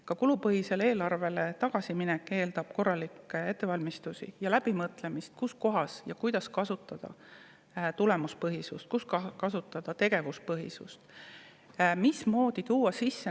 Ka kulupõhisele eelarvele tagasiminek eeldab korralikke ettevalmistusi ja läbimõtlemist, kus kohas ja kuidas kasutada tulemuspõhisust ja kus kasutada tegevuspõhisust või mismoodi tuua midagi sisse.